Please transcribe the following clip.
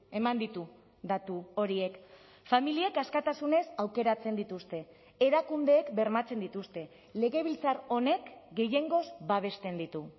eman ditu datu horiek familiek askatasunez aukeratzen dituzte erakundeek bermatzen dituzte legebiltzar honek gehiengoz babesten ditu